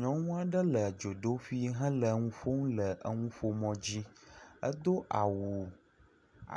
Nyɔnu aɖe le dzodoƒui hele nu ƒom le enuƒomɔ dzi. Edo awu